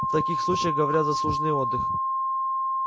в таких случаях говорят заслуженный отдых